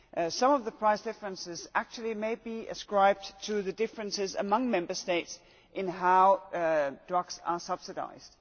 Some of the price differences actually may be ascribed to the differences among Member States in how drugs are subsidised.